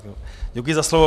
Děkuji za slovo.